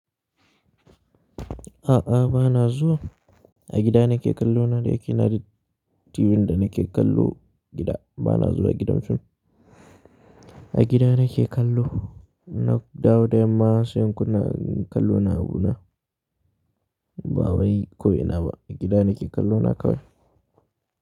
A'a, ba na zuwa. A gida nake kallo na da yake ina da TV da nake kallo gida. Ba na zuwa gidan fim. A gida nake kallo. Na dawo da yamma sai in kunna kallo na abu na. Ba wai ko ina ba, a gida nake kallo na kawai.